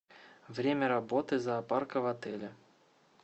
время работы зоопарка в отеле